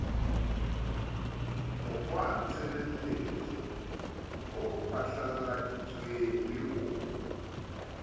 mokgwatshebetso o phatlalladitsweng le o